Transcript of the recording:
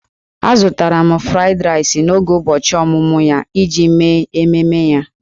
Azụtara m 'Fried Rice' n'oge ụbọchị ọmụmụ ya iji mee ememe ya.